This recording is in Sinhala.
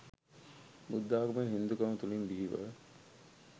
බුද්ධාගම හින්දුකම තුලින් බිහිව